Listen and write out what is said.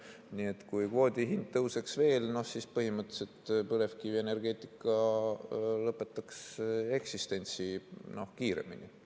Nii et kui kvoodi hind tõuseks veel, siis põhimõtteliselt põlevkivienergeetika lõpetaks eksistentsi kiiremini.